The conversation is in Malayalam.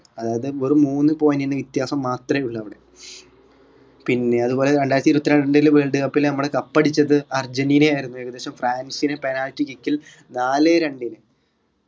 അതായത് വെറും മൂന്ന് point ന് വ്യത്യാസം മാത്രെയുള്ളൂ അവിടെ പിന്നെ അതുപോലെ രണ്ടായിരത്തി ഇരുപത്രണ്ടില് world cup ൽ cup അടിച്ചത് അർജന്റീന ആയിരുന്നു ഏകദേശം ഫ്രാൻസിനി penalty kick ൽ നാലേ രണ്ടിന്